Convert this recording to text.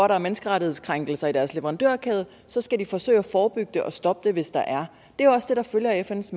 der er menneskerettighedskrænkelser i deres leverandørkæde og så skal de forsøge at forebygge det og stoppe det hvis der er det er også det der følger af fns